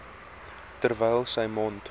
terwyl sy mond